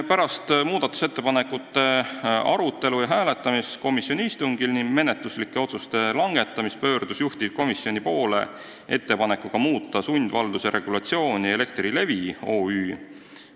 Pärast muudatusettepanekute arutelu ja hääletamist komisjoni istungil ning menetluslike otsuste langetamist pöördus juhtivkomisjoni poole ettepanekuga muuta sundvalduse regulatsiooni Elektrilevi OÜ.